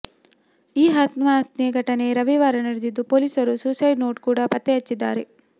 ಈ ಆತ್ಮಹತ್ಯೆ ಘಟನೆ ರವಿವಾರ ನಡೆದಿದ್ದು ಪೊಲೀಸರು ಸುಸೈಡ್ ನೋಟ್ ಕೂಡ ಪತ್ತೆ ಹಚ್ಚಿದ್ದಾರೆ